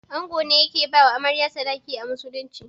Ango ne yake bawa Amarya sadaki a musulunci.